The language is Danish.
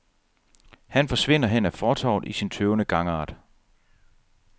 Han forsvinder hen ad fortovet i sin tøvende gangart.